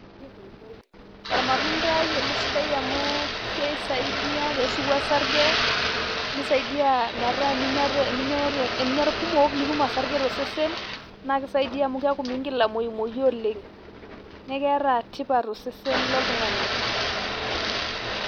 Ormatuntai ele sidai amu keisaidia peshuku osarge, nisaidia metaa eninya irkumok nitum osarge tosesen, na kisaidia amu miigil amuyumoyu oleng'. Neeku keeta tipat tosesen loltung'ani.